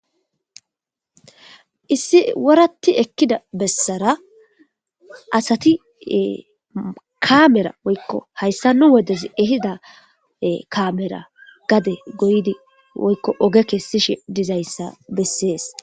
Issi woratti ekkida bessara asati kaamera woykko hayssa nu wodez ehida kaamera gade goydi woykko oge kessishe dizayssa bessees.